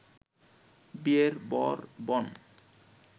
বিয়ের বর বন